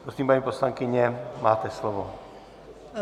Prosím, paní poslankyně, máte slovo.